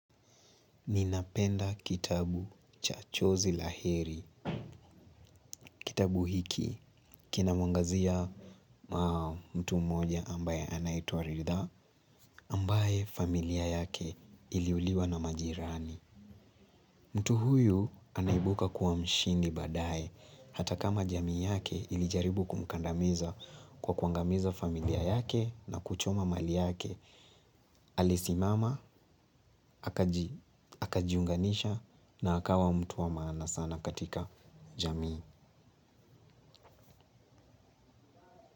Nina penda kitabu cha chozi la heri, kitabu hiki, kina mwangazia mtu mmoja ambae anatoa Ridhaa, ambae familia yake iliuliwa na majirani. Mtu huyu anaibuka kuwa mshindi baae, hata kama jamii yake ilijaribu kumkandamiza kwa kuangamiza familia yake na kuchoma mali yake. Alisimama, akajiunganisha na akawa mtu wa maana sana katika jamii.